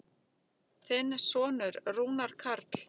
Þinn sonur, Rúnar Karl.